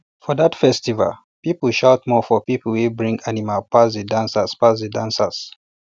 for that festival people shout more for people wey bring animal pass the dancers pass the dancers